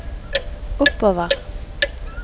oppover